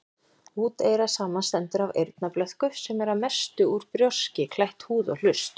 Úteyra samanstendur af eyrnablöðku, sem er að mestu út brjóski, klætt húð, og hlust.